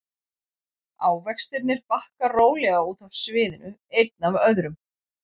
Ávextirnir bakka rólega út af sviðinu einn af öðrum.